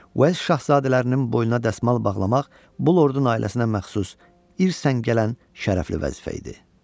Uels şahzadələrinin boynuna dəsmal bağlamaq bu lordun ailəsinə məxsus irsən gələn şərəfli vəzifə idi.